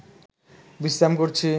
বিশ্রাম করছি